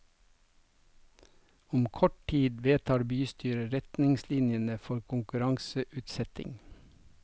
Om kort tid vedtar bystyret retningslinjene for konkurranseutsetting.